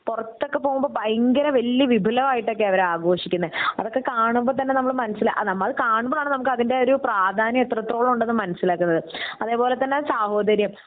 പൊറത്തൊക്കെ പൊമ്പോ ഭയങ്കര വല്യ വിപുലമായിട്ടൊക്കെ അവർ ആഘോഷിക്കുന്നെ അതൊക്കെ കാണുമ്പോ തന്നെ നമ്മളെ മനസ്സിൽ നമ്മൾ കണക്കുമ്പോ ആണ് നമുക്ക് അതിൻ്റെ ഒരു പ്രാധാന്യം എത്രത്തോളം ഉണ്ടെന്ന് മനസിലാകുന്നത്. അതേപോലെ തന്നെ സാഹോദര്യം